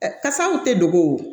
Kasaw tɛ dogo